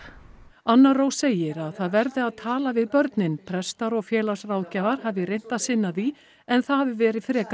anna Rós segir að það verði að tala við börnin prestar og félagsráðgjafar hafi reynt að sinna því en það hafi verið frekar